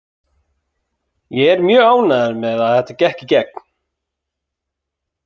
Ég er mjög ánægður með að þetta gekk í gegn.